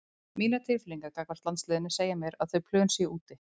Mínar tilfinningar gagnvart landsliðinu segja mér að þau plön séu úti.